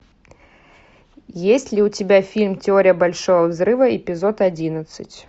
есть ли у тебя фильм теория большого взрыва эпизод одиннадцать